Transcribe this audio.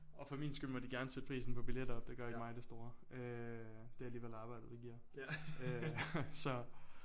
Og for min skyld må de gerne sætte prisen på billetter op det gør ikke mig det store øh. Det er alligevel arbejdet der giver øh så